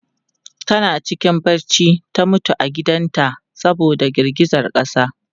Tana cikin bacci ta mutu a gidan ta saboda girgizan ƙasa.